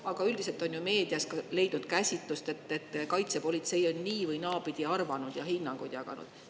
Aga üldiselt on ju meedias leidnud käsitlust, et kaitsepolitsei on nii‑ või naapidi arvanud ja hinnanguid jaganud.